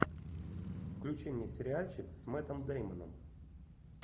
включи мне сериальчик с мэттом дэймоном